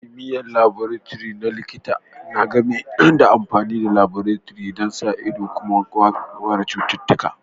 Kimiyya'n laborotori na likita na game da amfanin laborotori dan sa idanu da kuma warkar da citutuka.